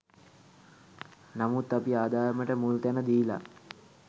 නමුත් අපි ආදායමට මුල්තැන දීලා